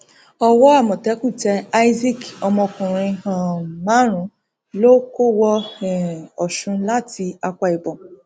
owó amọtẹkùn tẹ isaac ọmọkùnrin um márùnún lọ kó wọ um ọsùn láti akwa ibom